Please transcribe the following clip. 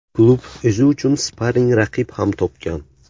Klub o‘zi uchun sparing raqib ham topgan.